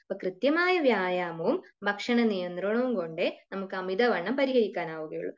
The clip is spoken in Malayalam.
അപ്പോ കൃത്യമായ വ്യായാമവും ഭക്ഷണ നിയന്ത്രണവും കൊണ്ടേ നമുക്കു അമിതവണ്ണം പരിഹരിക്കാനാവുകയുള്ളു